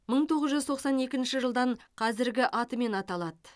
мың тоғыз жүз тоқсан екінші жылдан қазіргі атымен аталады